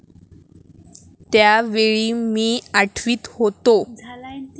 त्या वेळी मी आठवीत होतो.